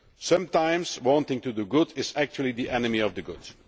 Sometimes wanting to do good is actually the enemy of the good.